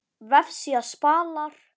Vefsíða Spalar